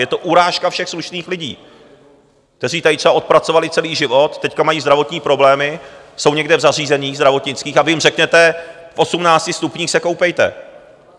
Je to urážka všech slušných lidí, kteří tady třeba odpracovali celý život, teďka mají zdravotní problémy, jsou někde v zařízeních zdravotnických a vy jim řeknete, v 18 stupních se koupejte.